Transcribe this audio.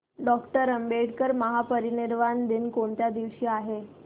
doctor Ambedkar महापरिनिर्वाण दिन कोणत्या दिवशी आहे